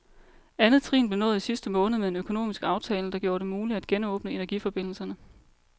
Andet trin blev nået i sidste måned med en økonomisk aftale, der gjorde det muligt at genåbne energiforbindelserne.